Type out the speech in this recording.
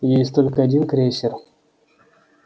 есть только один крейсер